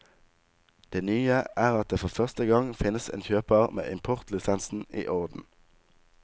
Det nye er at det for første gang finnes en kjøper med importlisensen i orden.